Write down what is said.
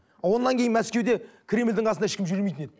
одан кейін мәскеуде кремльдің қасында ешкім жүрмейтін еді